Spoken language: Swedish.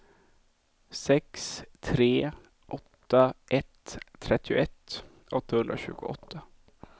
sex tre åtta ett trettioett åttahundratjugoåtta